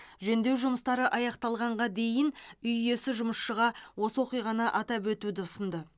жөндеу жұмыстары аяқталғанға дейін үй иесі жұмысшыға осы оқиғаны атап өтуді ұсынды